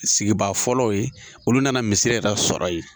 Sigibaa fɔlɔw ye olu yɛrɛ nana misira sɔrɔ yen